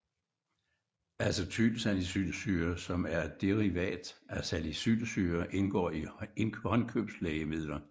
Acetylsalicylsyre som er et derivat af salicylsyre indgår i håndkøbslægemidler